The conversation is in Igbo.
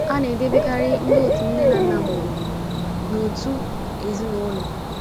A na - edebekarị ndị otu nne na nna mụrụ n’otu “ ezinụlọ. ”